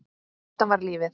Þetta var lífið.